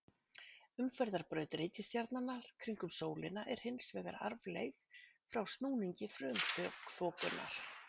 Umferðarbraut reikistjarnanna kringum sólina er hins vegar arfleifð frá snúningi frumþokunnar.